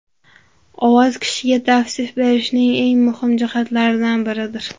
Ovoz kishiga tavsif berishning eng muhim jihatlaridan biridir.